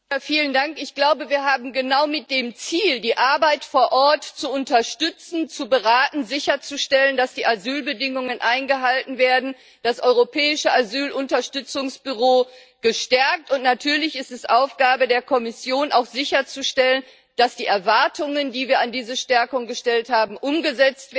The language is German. Ich glaube, wir haben genau mit dem Ziel, die Arbeit vor Ort zu unterstützen, zu beraten und sicherzustellen, dass die Asylbedingungen eingehalten werden, das Europäische Unterstützungsbüro für Asylfragen gestärkt, und natürlich ist es Aufgabe der Kommission, auch sicherzustellen, dass die Erwartungen, die wir an diese Stärkung geknüpft haben, umgesetzt werden.